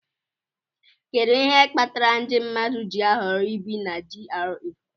Kedu ihe kpatara ndị mmadụ ji ahọrọ ibi na GRA